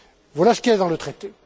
Voilà ce qui est dans le traité.